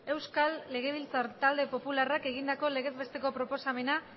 euskal legebiltzar talde popularrak egindako legez besteko proposamena